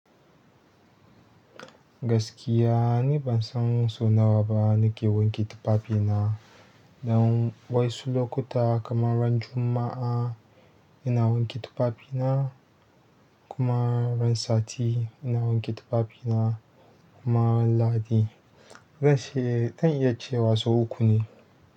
Gaskiya ni ban san sau nawa ba nake wanke tufafina. Dan wasu lokuta kamar ran Juma'a ina wanke tufafi na, kuma ran sati ina wanke tufafi na, kuma ran Lahadi. Zan iya cewa son uku ne.